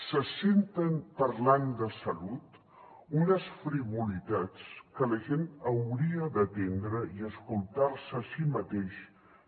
se senten parlant de salut unes frivolitats que la gent hauria d’atendre i escoltar se a si mateixa